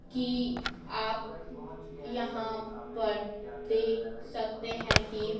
कि आप यहाँ पर देख सकते हैं कि--